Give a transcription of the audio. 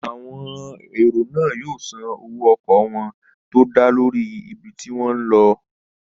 Àwọn èrò náà yóò san owó ọkọ̀ wọ́n tó dá lórí ibi tí wọ́n n lọ